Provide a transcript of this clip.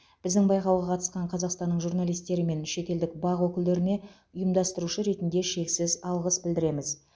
біздің байқауға қатысқан қазақстанның журналистері мен шетелдік бақ өкілдеріне ұйымдастырушы ретінде шексіз алғыс білдіреміз